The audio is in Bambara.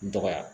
N dɔgɔya